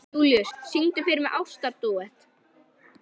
Júlíus, syngdu fyrir mig „Ástardúett“.